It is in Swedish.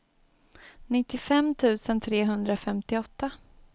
nittiofem tusen trehundrafemtioåtta